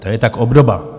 To je tak obdoba.